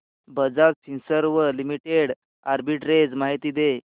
Bajaj Finserv limited arbitrage माहिती दे